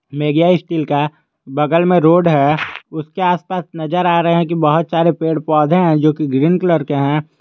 मेग्या steel का बगल में रोड है उसके आस पास नजर आ रहे हैं कि बहुत सारे पेड़ पौधे हैं जो कि ग्रीन कलर के हैं।